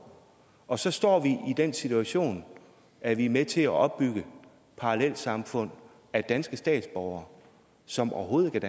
og så står vi i den situation at vi er med til at opbygge parallelsamfund af danske statsborgere som overhovedet